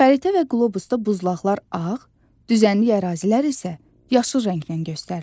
Xəritə və qlobusda buzlaqlar ağ, düzənlik ərazilər isə yaşıl rəngləndən göstərilir.